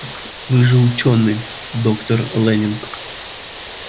вы же учёный доктор лэннинг